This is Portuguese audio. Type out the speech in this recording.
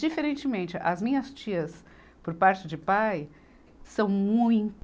Diferentemente, as minhas tias, por parte de pai, são muito